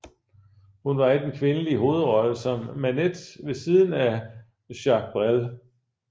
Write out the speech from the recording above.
Hun var i den kvindelige hovedrolle som Manette ved siden af Jacques Brel